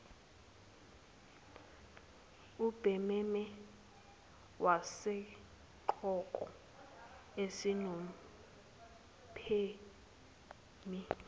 ubhememe wesigqoko esinompheme